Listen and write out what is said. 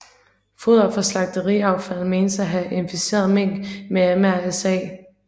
Foder fra slagteriaffald menes at have inficeret mink med MRSA